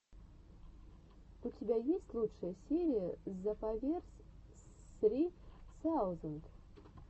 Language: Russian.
у тебя есть лучшая серия зепаверс ссри саузенд